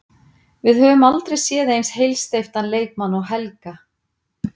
Við höfum aldrei séð eins heilsteyptan leikmann og Helga.